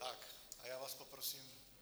Tak a já vás poprosím -